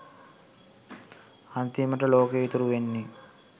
අන්තිමට ලෝකෙ ඉතුරු වෙන්නෙ